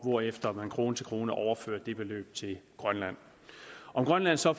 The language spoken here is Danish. hvorefter man krone til krone overfører det beløb til grønland om grønland så